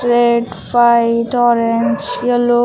Red white orange yellow.